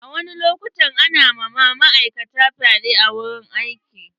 A wasu lokutan ana ma ma'aikata fyaɗe a wurin aiki.